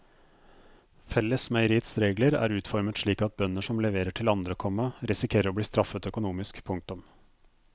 Fellesmeieriets regler er utformet slik at bønder som leverer til andre, komma risikerer å bli straffet økonomisk. punktum